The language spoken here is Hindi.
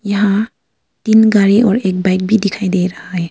यहां तीन गाड़ी और एक बाइक भी दिखाई दे रहा है।